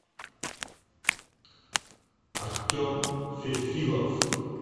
артем фефилов